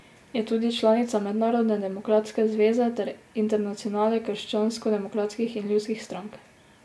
Je tudi članica Mednarodne demokratske zveze ter Internacionale krščanskodemokratskih in ljudskih strank.